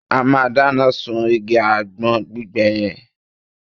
A máa dáná sún igi àgbọn gbígbẹ yẹn